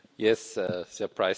Frau Präsidentin!